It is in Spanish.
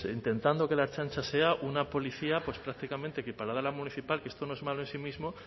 intentando que la ertzaintza sea una policía pues prácticamente equiparada a la municipal que esto no es malo en sí mismo